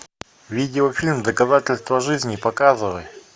видеофильм доказательство жизни показывай